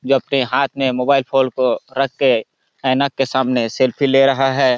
ये अपने हाथ में मोबाईल फोन को रख के आइना के सामने सेल्फ़ी ले रहा है।